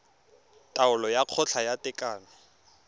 taolo ya kgotla ya tekano